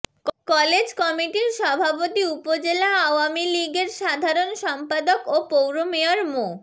college কমিটির সভাপতি উপজেলা আওয়ামী লীগের সাধারণ সম্পাদক ও পৌর মেয়র মো